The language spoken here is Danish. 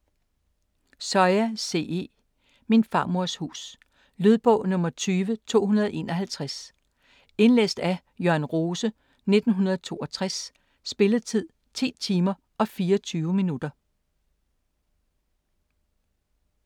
Soya, C. E.: Min farmors hus Lydbog 20251 Indlæst af Jørn Rose, 1962. Spilletid: 10 timer, 24 minutter.